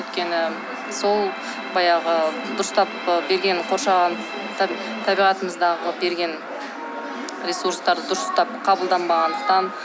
өйткені сол баяғы дұрыстап ы берген қоршаған табиғатымыздағы берген ресурстар дұрыстап қабылданбандықтан